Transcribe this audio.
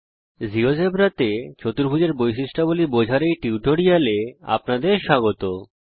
জীয়োজেব্রাতে চতুর্ভুজের বৈশিষ্ট্যাবলী বোঝার উপর এই কথ্য টিউটোরিয়াল এ আপনাদের স্বাগত জানাই